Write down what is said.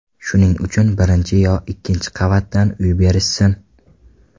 Shuning uchun birinchi yo ikkinchi qavatdan uy berishsin.